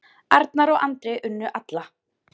Arnar og Andri unnu alla